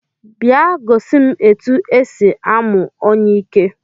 Bịa gosi m etu e si amụ onyiike